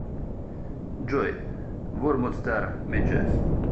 джой вормвуд стар миджис